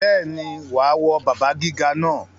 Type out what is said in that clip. Bẹ́ẹ̀ni, wà á wọ bàbá gíga náà.